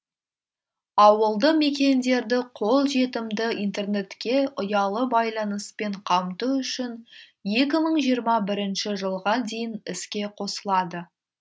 ауылды мекендерді қолжетімді интернетке ұялы байланыспен қамту үшін екі мың жиырма бірінші жылға дейін іске қосылады